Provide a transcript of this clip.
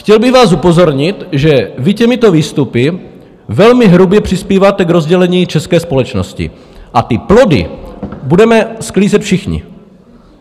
Chtěl bych vás upozornit, že vy těmito výstupy velmi hrubě přispíváte k rozdělení české společnosti, a ty plody budeme sklízet všichni.